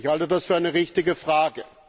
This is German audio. Ich halte das für eine richtige Frage.